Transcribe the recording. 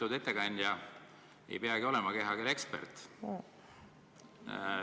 Lugupeetud ettekandja, ei peagi olema kehakeele ekspert.